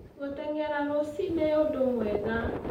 Gũteng'era rũcii-nĩ ũndũ mwega.